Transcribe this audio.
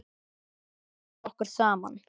Þetta tókst okkur saman.